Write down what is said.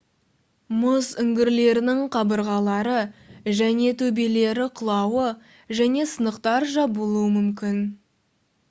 мұз үңгірлерінің қабырғалары және төбелері құлауы және сынықтар жабылуы мүмкін